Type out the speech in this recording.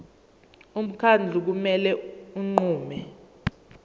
umkhandlu kumele unqume